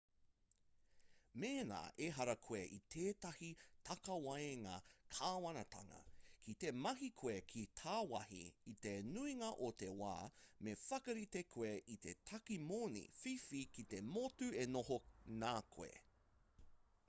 mēnā ehara koe i tētahi takawaenga kāwanatanga ki te mahi koe ki tāwāhi i te nuinga o te wā me whakarite koe i te tāke moni whiwhi ki te motu e noho nā koe